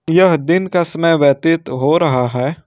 यह दिन का समय व्यतीत हो रहा है।